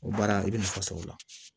O baara i bɛ nafa sɔrɔ o la